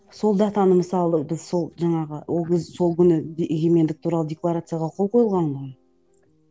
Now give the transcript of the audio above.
сол датаны мысалы біз сол жаңағы ол кез сол күні егемендік туралы декларацияға қол қойылған ғой